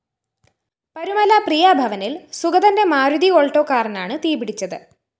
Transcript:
പരുമല പ്രിയാ ഭവനില്‍ സുഗതന്റെ മാരുതി ആൾട്ടോ കാറിനാണ് തീപിടിച്ചത്